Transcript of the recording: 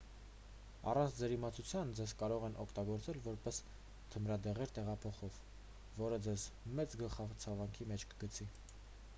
առանց ձեր իմացության ձեզ կարող են օգտագործել որպես թմրադեղեր տեղափոխող որը ձեզ մեծ գլխացավանքի մեջ կգցի